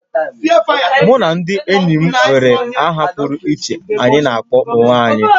Mụ na ndị enyi m nwere aha pụrụ iche anyị na akpọ onwe anyị